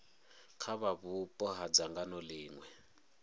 kha vhupo ha dzangano ḽiṅwe